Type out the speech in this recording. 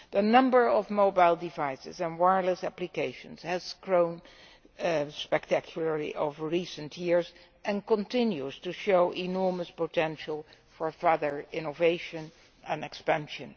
The number of mobile devices and wireless applications has grown spectacularly over recent years and continues to show enormous potential for further innovation and expansion.